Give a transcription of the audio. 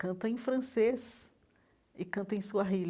Canta em francês e canta em suahili.